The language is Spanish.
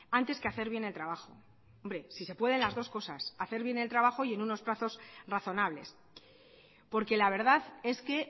antes que hacer bien el trabajo hombre si se pueden las dos cosas hacer bien el trabajo y en unos plazos razonables porque la verdad es que